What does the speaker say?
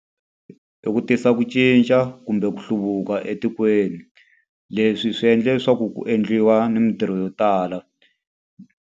I ku tisa ku cinca kumbe ku hluvuka etikweni. Leswi swi endla leswaku ku endliwa ni mintirho yo tala.